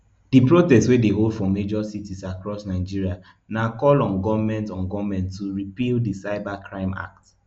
di protest wey dey hold for major cities across nigeria na call on goment on goment to repeal di cyber crime act